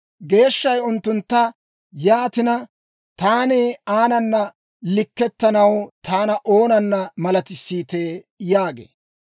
Geeshshay unttuntta, «Yaatina, taani aanana likkettanaw taana oonana malatissiitee?» yaagee.